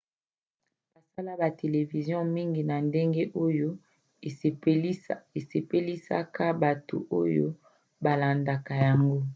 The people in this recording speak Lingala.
basala ba televizio mingi na ndenge oyo esepelisaka bato oyo balandaka yango